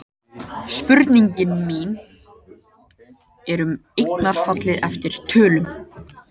Spurningin mín er um eignarfallið eftir tölum.